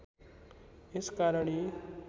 यस कारण यी